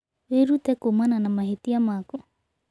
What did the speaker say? Wĩrute kuumana na mahĩtia maku.